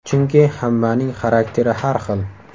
Chunki hammaning xarakteri har xil.